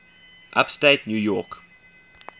upstate new york